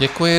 Děkuji.